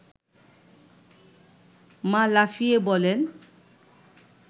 মা লাফিয়ে বলেন